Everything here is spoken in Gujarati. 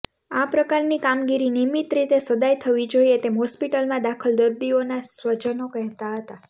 આ પ્રકારની કામગીરી નિયમિત રીતે સદાય થવી જોઈએ તેમ હોસ્પિટલમાં દાખલ દર્દીઓના સ્વજનો કહેતા હતા